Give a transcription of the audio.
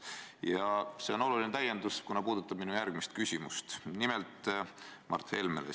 Ja see on oluline täiendus, kuna puudutab minu järgmist küsimust Mart Helmele.